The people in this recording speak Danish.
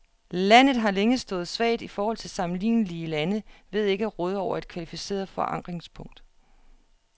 Landet har længe stået svagt i forhold til sammenlignelige lande ved ikke at råde over et kvalificeret forankringspunkt.